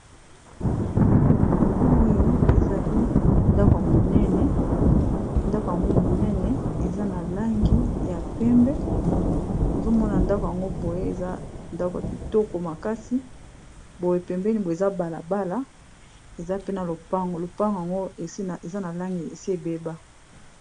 Oyo ezali ndako ya monene, ndaku yango monene eza na langi ya pembe. Bozo mona ndako yango boye eza ndako ya kitoko makasi, boye pembeni boye eza bala bala eza pe na lopango, lopango yango eza na langi esi ebeba.